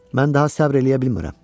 Mən daha səbr eləyə bilmirəm.